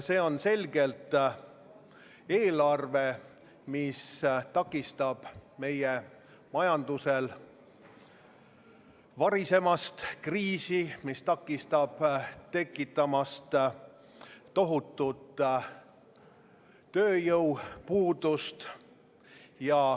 See on selgelt eelarve, mis takistab meie majandusel varisemast kriisi ja takistab tekkimast tohutul tööjõupuudusel.